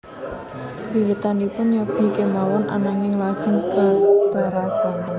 Wiwitanipun nyobi kemawon ananging lajeng katerasan